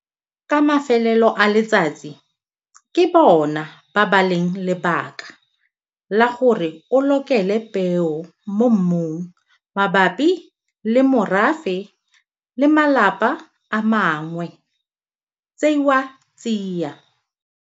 Ka mafelelo a letsatsi ke bona ba ba leng lebaka la gore o lokele peo mo mmung mabapi le morafe le malapa a mangwe tseiwa tsia.